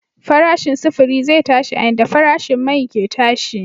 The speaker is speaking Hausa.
Farashin sufuri zai tashi a yanda farashin mai ke tashi.